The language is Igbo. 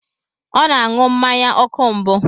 Ọ na-aṅụ mmanya ọkụ mbụ.